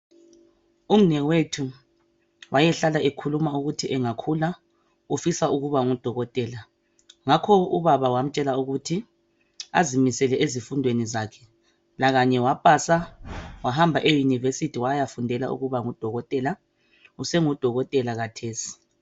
Umnewethu wayehlala ekhuluma ukuthi angakhula ufisa ukuba ngudokotela. Ngakho ubaba wamutshela ukuthi azimisele ezifundweni zakhe. lakanye wapasa wahamba eyunivesithi wayafundela ukuba ngudokotela, usengudokotela khathesi.